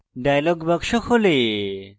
dialog box খোলে